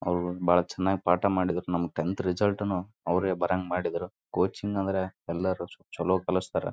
ಇದು ಒಂದು office office ನಲ್ಲಿ ಒಂದು ಸ್ಕ್ರೀನ್ ಅನ್ನು ನೋಡಬಹುದು.